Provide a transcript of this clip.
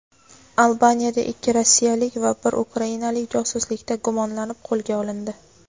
Albaniyada ikki rossiyalik va bir ukrainalik josuslikda gumonlanib qo‘lga olindi.